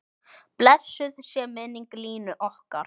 Blessuð sé minning Línu okkar.